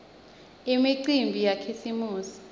imicimbi yakhisimusi